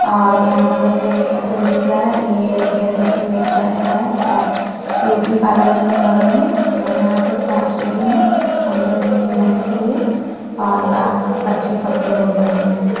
और यहां बगल में एक शटल दिख रहा है ये हेयर कटिंग हेयर स्टाइल का है शायद ब्यूटी पार्लर भी है बगल में और यहां पे चार शीडी हैं अंदर रूम में जानें के लिए और बाहर कच्चे-पक्के रोड बने है।